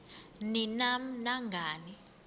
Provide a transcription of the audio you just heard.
ni nam nangani